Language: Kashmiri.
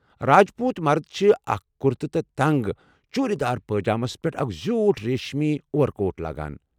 راج پوُت مرد چھِ اکھ کرتہٕ تہٕ تنگ چوُرِدار پٲجامس پیٹھ اکھ زِیوُٹھ ریٖشمی اوَر کوٹھ لاگان۔